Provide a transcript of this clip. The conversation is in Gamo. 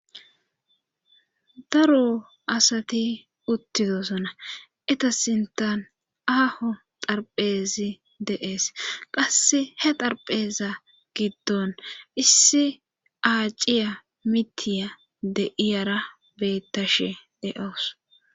Daro asati uttidosona etasintan aaho xarphezi de'ees qase he xarpheeza giddon issi aaciya mitiya de iyara beettashe de'oos.